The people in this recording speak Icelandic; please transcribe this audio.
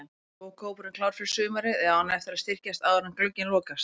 Er lokahópurinn klár fyrir sumarið eða á hann eftir að styrkjast áður en glugginn lokast?